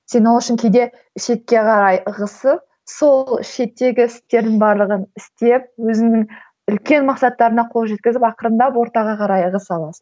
сен ол үшін кейде шетке қарай ығысып сол шеттегі істердің барлығын істеп өзіңнің үлкен мақсаттарыңа қол жеткізіп ақырындап ортаға қарай ығыса аласың